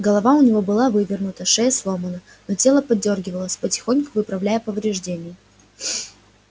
голова у него была вывернута шея сломана но тело подёргивалось потихоньку выправляя повреждения